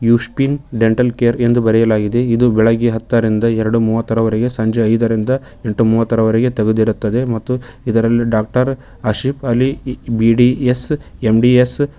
ಯೂಸ್ಪಿನ dental care ಎಂದು ಬರೆಯಲಾಗಿದೆ ಇದು ಬೆಳಗ್ಗೆ ಹತ್ತರಿಂದ ಎರಡು ಮೂವತ್ತರವರಗೆ ಸಂಜೆ ಐದರಿಂದ ಎಂಟು ಮುವತ್ತರವರಗೆ ತೆಗೆದಿರುತ್ತದೆ ಮತ್ತು ಇದರಲ್ಲಿ doctor Asif Ali B D S M D S .